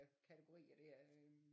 Kategorier der øh